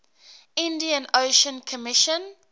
indian ocean commission